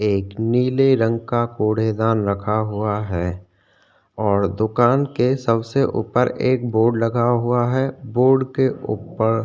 एक नीले रंग का कुड़े दान रखा हुआ है और दुकान के सबसे ऊपर एक बोर्ड लगा हुआ है बोर्ड के ऊपर --